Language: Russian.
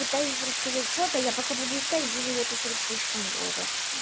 пытаюсь рассказать что-то я пока буду искать буду записывать слишком долго